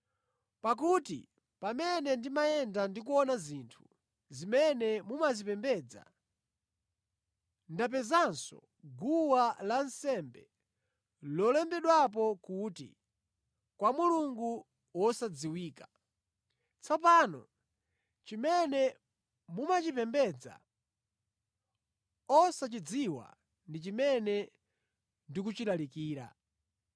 Pakuti pamene ndimayenda ndi kuona zinthu zimene mumazipembedza, ndapezanso guwa lansembe lolembedwapo kuti, kwa mulungu wosadziwika . Tsopano chimene mumachipembedza osachidziwa ndi chimene ndikuchilalikira.